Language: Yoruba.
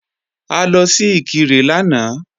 A lọ sí Ìkirè lánàá